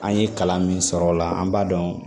An ye kalan min sɔrɔ o la an b'a dɔn